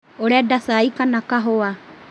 ũrenda cai kana kahũa?